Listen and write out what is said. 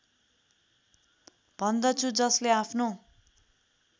भन्दछु जसले आफ्नो